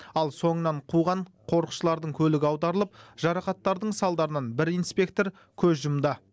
ал соңынан қуған қорықшылардың көлігі аударылып жарақаттардың салдарынан бір инспектор көз жұмды